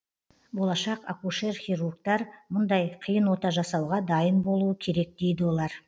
болашақ акушер хирургтар мұндай қиын ота жасауға дайын болуы керек дейді олар